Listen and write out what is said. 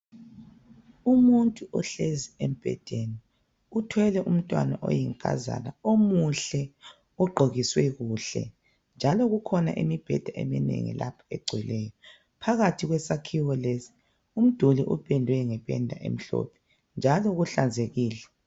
Umuntu ohlezi embhedeni uthwele umntwana oyinkazana omuhle ogqokiswe kuhle njalo kukhona imibheda eminengi lapha egcweleyo phakathi kwesakhiwo lesi umduli upendwe ngependa emhlophe njalo kuhlanzekile.